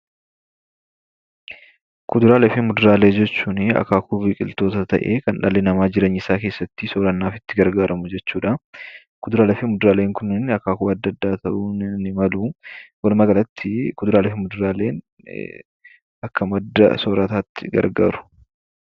Kuduraalee fi muduraaleen akaakuu biqiltootaa keessaa tokko ta'ee kan dhalli namaa jireenya isaa keessatti madda soorataatti gargaaramu jechuudha. Kuduraalee fi muduraalee akaakuu adda addaa ta'uu ni malu.